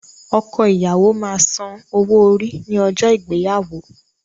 Ọkọ ìyàwó máa san owó orí ní ọjọ́ ìgbéyàwó.